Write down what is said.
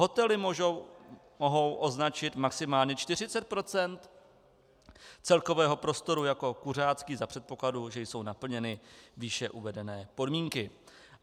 Hotely mohou označit maximálně 40 % celkového prostoru jako kuřácký za předpokladu, že jsou naplněny výše uvedené podmínky.